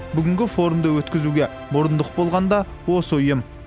бүгінгі форумды өткізуге мұрындық болған да осы ұйым